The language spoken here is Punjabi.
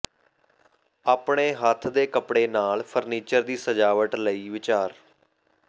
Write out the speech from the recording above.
ਆਪਣੇ ਹੱਥ ਦੇ ਕੱਪੜੇ ਨਾਲ ਫਰਨੀਚਰ ਦੀ ਸਜਾਵਟ ਲਈ ਵਿਚਾਰ